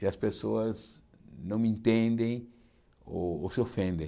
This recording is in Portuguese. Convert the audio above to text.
e as pessoas não me entendem ou ou se ofendem.